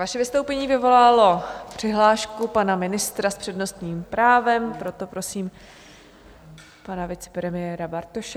Vaše vystoupení vyvolalo přihlášku pana ministra s přednostním právem, proto prosím pana vicepremiéra Bartoše.